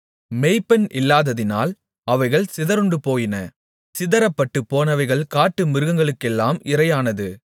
மேய்ப்பன் இல்லாததினால் அவைகள் சிதறுண்டுபோயின சிதறப்பட்டு போனவைகள் காட்டு மிருகங்களுக்கெல்லாம் இரையானது